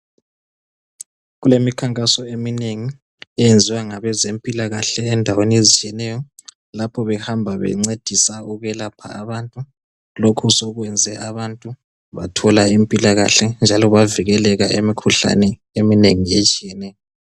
Kulemikhankaso eminengi eyenziwa ngabezempilakahle endaweni ezitshiyeneyo lapho behamba bencedisa ukwelapha abantu lokhu sokwenze abantu bathola impilakahle bavikeleka emkhuhlaneni eminengi